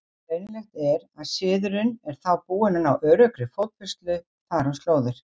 Greinilegt er, að siðurinn er þá búinn að ná öruggri fótfestu þar um slóðir.